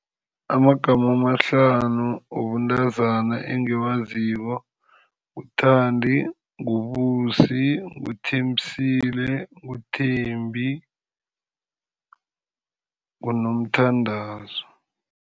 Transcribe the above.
Amagama amahlanu wobuntazana engiwaziko, nguThandi, nguBusi, ngikuThembisile, nguThembi nguNomthandazo.